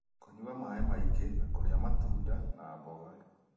Kũnyua maaĩ maingĩ na kũrĩa matunda na mboga